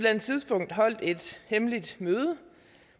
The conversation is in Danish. andet tidspunkt holdt et hemmeligt møde